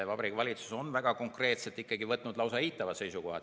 Vabariigi Valitsus on väga konkreetselt võtnud lausa eitava seisukoha.